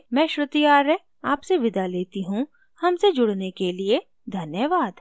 I I T Bombay से मैं श्रुति आर्य आपसे विदा लेती हूँ हमसे जुड़ने के लिए धन्यवाद